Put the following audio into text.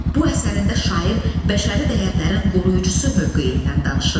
Bu əsərində şair bəşəri dəyərlərin qoruyucusu mövqeyindən danışır.